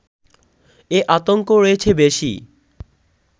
এ আতঙ্ক রয়েছে বেশি